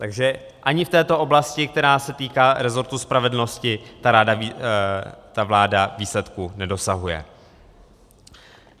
Takže ani v této oblasti, která se týká resortu spravedlnosti, ta vláda výsledků nedosahuje.